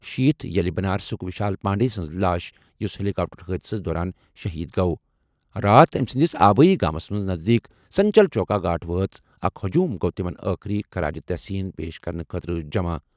شیٖتھ ییٚلہِ بنارسُک وشال پانڈے سٕنٛز لاش، یُس ہیلی کاپٹر حٲدثس دوران شہید گوٚو، راتھ أمۍ سٕنٛدِس آبٲیی گامَس نزدیٖک سنچل چوکا گھاٹ وٲژ، اکھ ہجوم گوٚو تِمَن ٲخری خراج تحسین پیش کرنہٕ خٲطرٕ جمع۔